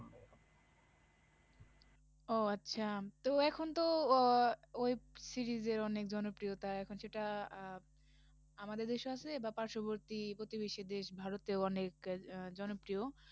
ও আচ্ছা, তো এখন তো আহ web series এর অনেক জনপ্রিয়তা, এখন সেটা আহ আমাদের দেশেও আছে বা পার্শবর্তী প্রতিবেশী দেশ ভারতেও অনেকএ আহ জনপ্রিয়